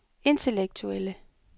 intellektuelle